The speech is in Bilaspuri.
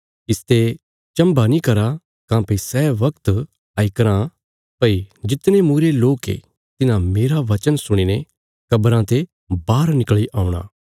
इसते चम्भा नीं करा काँह्भई सै बगत आई कराँ भई जितने मूईरे लोक ये तिन्हां मेरा बचन सुणीने कब्रां ते बाहर निकल़ी औणा